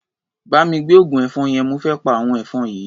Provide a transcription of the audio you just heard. Bá mi gbé oògùn ẹ̀fọn yẹn, mo fé pa àwọn ẹ̀fọn yìí.